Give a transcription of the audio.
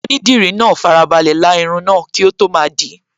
Onídìdí náà farabalẹ̀ la irun náà kí ó tó máa dìí